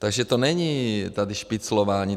Takže to není tady špiclování.